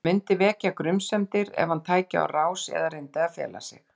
Það myndi vekja grunsemdir ef hann tæki á rás eða reyndi að fela sig.